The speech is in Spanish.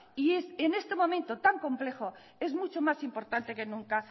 y en este momento tan complejo es mucho más importante que nunca